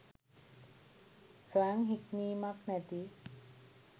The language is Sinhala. ස්වයං හික්මීමක් නැති